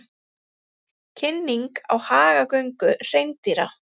Kynning á hagagöngu hreindýra